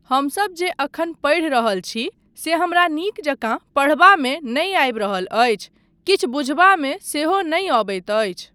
हमसब जे एखन पढ़ि रहल छी से हमरा नीक जकाँ पढ़बामे नहि आबि रहल अछि, किछु बुझबामे सेहो नहि अबैत अछि।